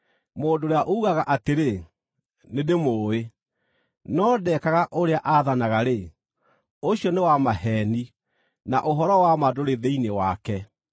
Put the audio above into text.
Mũndũ ũrĩa uugaga atĩrĩ, “Nĩndĩmũũĩ,” no ndekaga ũrĩa aathanaga-rĩ, ũcio nĩ wa maheeni, na ũhoro wa ma ndũrĩ thĩinĩ wake.